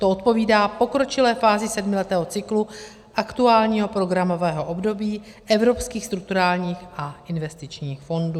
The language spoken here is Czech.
To odpovídá pokročilé fázi sedmiletého cyklu aktuálního programového období evropských strukturálních a investičních fondů.